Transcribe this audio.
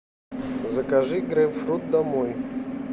закажи грейпфрут домой